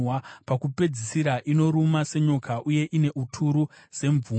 Pakupedzisira inoruma senyoka uye ine uturu semvumbi.